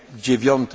jutro o